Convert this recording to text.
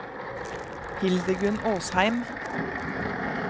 Hildegunn Åsheim